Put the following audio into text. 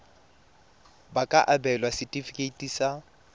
ba ka abelwa setefikeiti sa